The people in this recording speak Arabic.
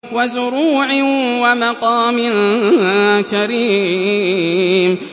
وَزُرُوعٍ وَمَقَامٍ كَرِيمٍ